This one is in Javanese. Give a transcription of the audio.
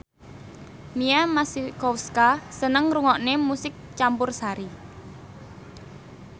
Mia Masikowska seneng ngrungokne musik campursari